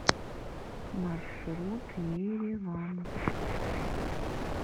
маршрут ереван